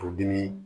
Furudimi